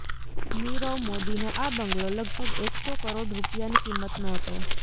નીરવ મોદીનો આ બંગલો લગભગ એકસો કરોડ રૂપિયાની કિંમતનો હતો